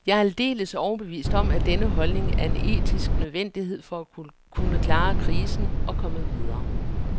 Jeg er aldeles overbevist om, at denne holdning er en etisk nødvendighed for at klare krisen og komme videre.